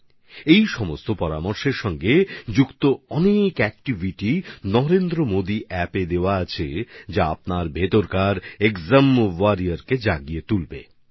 এই মন্ত্রগুলোর সঙ্গে যুক্ত অনেকগুলো আকর্ষণীয় বিষয় নরেন্দ্রমোদি অ্যাপে দেওয়া হয়েছে যেগুলো আপনাদের মধ্যে পরীক্ষা যোদ্ধাকে জাগিয়ে তুলতে সাহায্য করবে